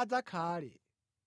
adzakhale.